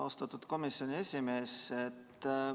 Austatud komisjoni esimees!